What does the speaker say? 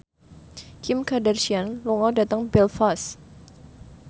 Kim Kardashian lunga dhateng Belfast